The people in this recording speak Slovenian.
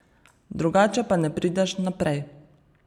Drugače pa ne prideš naprej.